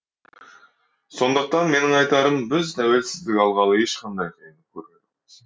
сондықтан менің айтарым біз тәуелсіздік алғалы ешқандай қиындық көрген жоқпыз